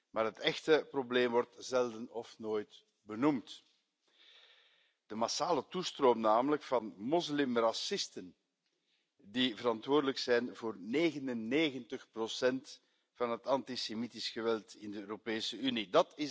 Maar het echte probleem wordt zelden of nooit benoemd de massale toestroom van moslimracisten die verantwoordelijk zijn voor 99 van het antisemitisch geweld in de Europese Unie.